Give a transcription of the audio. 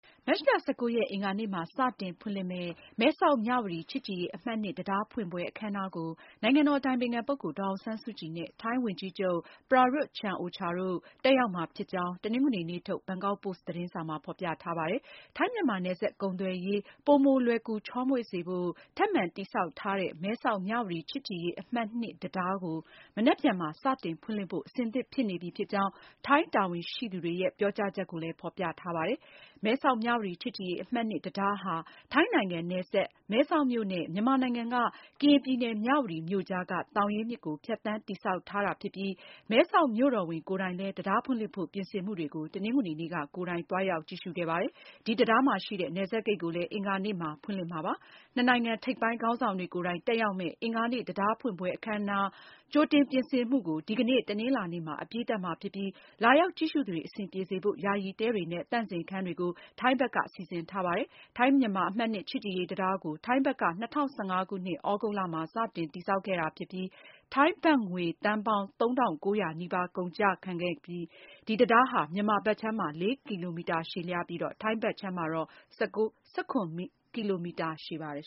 မတ်လ (၁၉)ရက် အင်္ဂါနေ့မှာ စတင် ဖွင့်လှစ်မယ့် မဲဆောက်-မြဝတီ ချစ်ကြည်ရေးအမှတ် (၂) တံတားဖွင့်ပွဲ အခမ်းအနားကို နိုင်ငံတော်အတိုင်ပင်ခံပုဂ္ဂိုလ် ဒေါ်အောင်ဆန်းစုကြည် နဲ့ ထိုင်းဝန်ကြီးချုပ် Prayut Chan-o-cha တို့ တက်ရောက်မှာဖြစ်ကြောင်း တနင်္ဂနွေနေ့ ထုတ် ဘန်ကောက်ပို့စ်သတင်းစာမှာ ဖေါ်ပြထားပါတယ်။ ထိုင်း-မြန်မာ နယ်စပ်ကုန်သွယ်ရေး ပိုမိုလွယ်ကူ ချောမွေ့စေဖို့ ထပ်မံ တည်ဆောက် ထားတဲ့ မဲဆောက်-မြဝတီ ချစ်ကြည်ရေးအမှတ် (၂)တံတား ကို မနက်ဖြန်မှာ စတင်ဖွင့်လှစ်ဖို့ အဆင်သင့် ဖြစ်နေပြီဖြစ်ကြောင်း ထိုင်း တာဝန်ရှိသူတွေရဲ့ ပြောကြားချက်ကို ဘန်ကောက်ပို့စ်မှာ ဖေါ်ပြထားပါတယ်။ မဲဆောက်-မြဝတီ ချစ်ကြည်ရေးအမှတ် (၂)တံတားဟာ ထိုင်းနိုင်ငံ Tak ခရိုင်က မဲဆောက်မြို့နဲ့ မြန်မာနိုင်ငံ ကရင်ပြည်နယ် မြဝတီ မြို့ ကြားက သောင်ရင်းမြစ်ကို ဖြတ်သန်းတည်ဆောက်ထားတာဖြစ်ပြီး မဲဆောက်မြို့တော်ဝန် Therdkiat Chinsoranand ကိုယ်တိုင်လည်း တံတားဖွင့်လှစ်ဖို့ ပြင်ဆင်မှုတွေကို တနင်္ဂနွေနေ့က ကိုယ်တိုင် သွားရောက်ကြည့်ရှုခဲ့ပါတယ်။ ဒီတံတားမှာရှိတဲ့ နယ်စပ်ဂိတ်ကိုလည်း အင်္ဂါနေ့မှာ ဖွင့်လှစ်မှာဖြစ်ပါတယ်။ နှစ်နိုင်ငံ ထိပ်ပိုင်းခေါင်းဆောင်တွေကိုယ်တိုင် တက်ရောက်မယ့် အင်္ဂါနေ့ တံတားဖွင့်ပွဲ အခမ်းအနားအတွက် ကြိုတင်ပြင်ဆင်မှုကို ဒီကနေ့ တနင်္လာနေ့မှာ အပြီးသတ်မှာဖြစ်ပြီး လာရောက်ကြည့်ရှုသူတွေ အဆင်ပြေစေဖို့ ယာယီတဲတွေနဲ့ သန့်စင်ခန်းတွေကို ထိုင်းဘက်က စီစဉ်ထားပါတယ်။ ထိုင်းမြန်မာ အမှတ် (၂) ချစ်ကြည်ရေးတံတားကို ထိုင်းဘက်က ၂၀၁၅ ခုနှစ် သြဂုတ်လမှာ စတင်တည်ဆောက်ခဲ့တာဖြစ်ပြီး ထိုင်းဘတ်ငွေသန်းပေါင်း ၃၉၀၀ နီးပါးကုန်ကျခဲ့တဲ့ တံတားဟာ မြန်မာဘက်ခြမ်းမှာ ၄ ကီလိုမီတာရှည်ပြီး ထိုင်းဘက်ခြမ်းမှာတော့ ၁၇ ကီလိုမီတာ ရှည်ပါတယ်